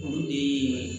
O de ye